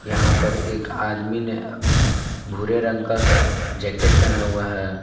यहां पर एक आदमी ने भूरे रंग का जैकेट पहना हुआ है।